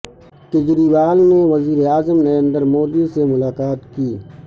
کجریوا ل نے وزیر اعظم Narendra Modi سے ملا قا ت کی